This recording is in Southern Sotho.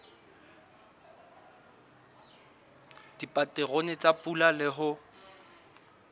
dipaterone tsa pula le ho